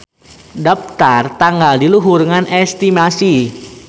Daptar tanggal di luhur ngan estimasi.